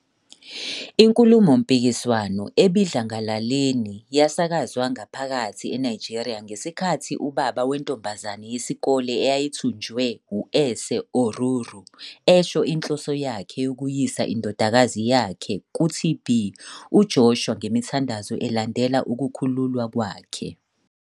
Inkulumompikiswano ebidlangalaleni yasakazwa ngaphakathi eNigeria ngesikhathi ubaba wentombazane yesikole eyayithunjiwe u-Ese Oruru esho inhloso yakhe yokuyisa indodakazi yakhe kuTB. UJoshua ngemithandazo elandela ukukhululwa kwakhe.